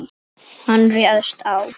Hann réðst á